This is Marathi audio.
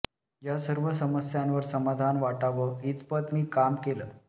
या सर्व समस्यांवर समाधान वाटाव इतपत मी काम केल